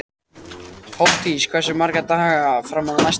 Hofdís, hversu margir dagar fram að næsta fríi?